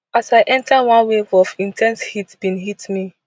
as i enter one wave of in ten se heat bin hit me